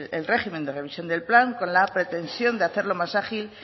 el régimen de revisión del plan con la pretensión de hacerlo más ágil